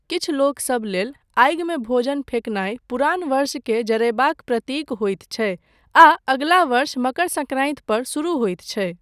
किछु लोकसब लेल, आगिमे भोजन फेकनाय पुरान वर्षकेँ जरयबाक प्रतीक होइत छै आ अगिला वर्ष मकर सङ्क्रान्ति पर शुरू होइत छै।